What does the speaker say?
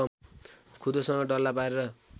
खुँदोसँग डल्ला पारेर